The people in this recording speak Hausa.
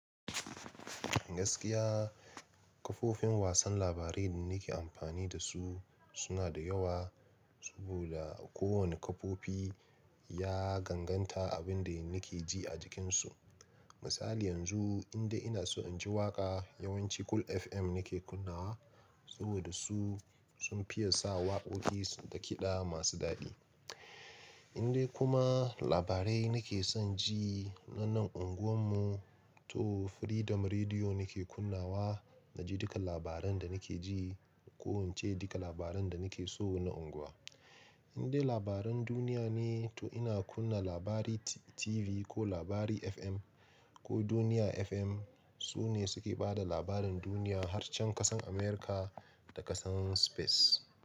Gaskiya kafofin wasan labarai da nake amfani da su suna da yawa. Saboda kowane kafofi ya ganganta abin da nake ji a jikinsu. Misali yanzu indai ina so in ji waƙa yawanci Cool FM nake kunnawa. Saboda su sun fiya sa waƙoƙi da kiɗa masu daɗi. Indai kuma labarai nake son ji na nan unguwan mu to Freedom Rediyo nake kunnawa. Na ji duka labaran da nake ji. Ko in ce duka labaran da nake so na unguwa. Indai labaran duniya ne to ina kunna Labari TV ko Labari FM ko Duniya FM. Su ne suke ba da labarin duniya har can ƙasan Amurka da ƙasan Space.